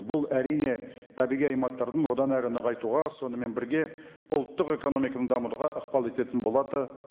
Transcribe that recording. бұл әрине табиғи аймақтардың одан әрі нығайтуға сонымен бірге ұлттық экономиканы дамытуға ықпал ететін болады